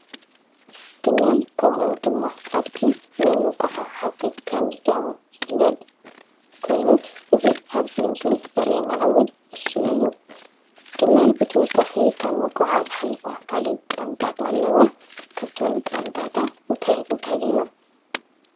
ግመል ከምኡ ድማ ኣድጊ ንመጓዓዓዚ ከም ዝጠቕሙ ዝፍለጥ ኮይኑ እዚ ኣብዚ ምስሊ ዘሪአና እውን ንሱ እዩ። ግመል ብተወሳኺ ካብ ምጉዓዓዝ ሓሊፋ ካሊእ ጥቕምታት ኣለዋ። ካብቶም ጥቕምታታ እንታይ እንታይ እዮም?